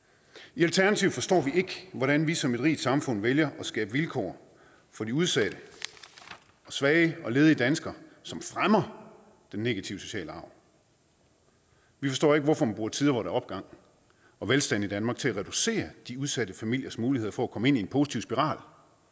i alternativet forstår vi ikke hvordan vi som et rigt samfund vælger at skabe vilkår for de udsatte svage og ledige danskere som fremmer den negative sociale arv vi forstår ikke hvorfor man bruger tider hvor der er opgang og velstand i danmark til at reducere de udsatte familiers mulighed for at komme ind i en positiv spiral